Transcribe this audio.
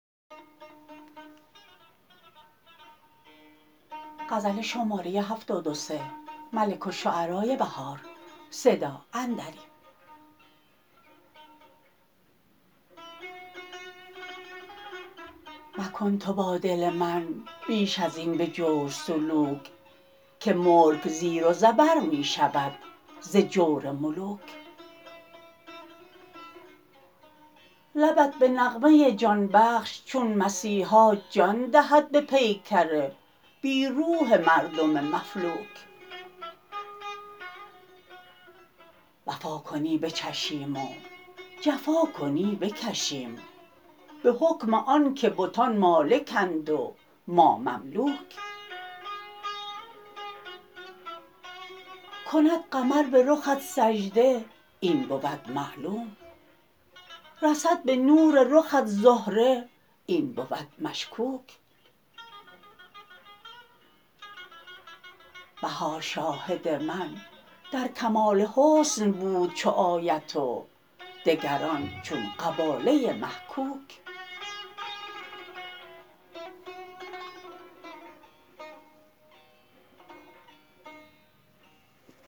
مکن تو با دل من بیش از این به جور سلوک که ملک زیر و زبر می شود ز جور ملوک لبت به نغمه جان بخش چون مسیحا جان دهد به پیکر بی روح مردم مفلوک وفا کنی بچشیم و جفا کنی بکشیم به حکم آن که بتان مالکند و ما مملوک کند قمر به رخت سجده این بود معلوم رسد به نور رخت زهره این بود مشکوک بهار شاهد من در کمال حسن بود چو آیت و دگران چون قباله محکوک